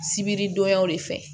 Sibiri donyaw de fɛ